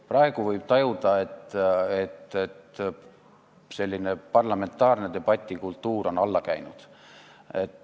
Praegu võib tajuda, et parlamentaarse debati kultuur on alla käinud.